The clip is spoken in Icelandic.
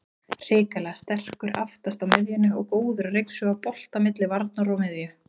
Hrikalega sterkur aftast á miðjunni og góður að ryksuga bolta milli varnar og miðju.